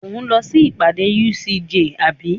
Ò ń lọ sí ìpàdé UCJ àbí?